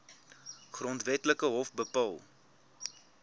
grondwetlike hof bepaal